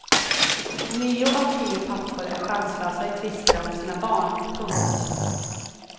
Nio av tio pappor är chanslösa i tvister om sina barn. punkt